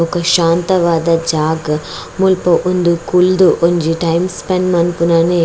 ಬೊಕ ಶಾಂತವಾದ ಜಾಗ ಮುಲ್ಪ ಉಂದು ಕುಲ್ದು ಒಂಜಿ ಟೈಮ್ ಸ್ಪೆಂಡ್ ಮನ್ಪುನನೆ --